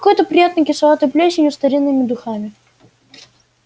какой-то приятной кисловатой плесенью старинными духами